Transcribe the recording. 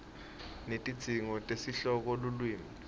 netidzingo tesihloko lulwimi